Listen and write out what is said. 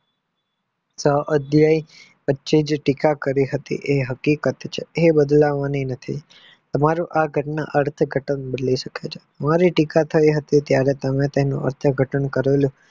આ અધ્યાય વચ્ચે જ ટીકા કરી હતી એ હકીકત છે જે બદલવાની નથી તમારે આ ઘટના આ રીતે બદલે છે મારી ટીકા થઈ હતી ત્યરે મેં તેનું અર્થ ઘટન કરેલું